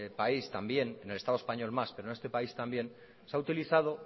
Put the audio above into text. país también en el estado español más pero en este país también se ha utilizado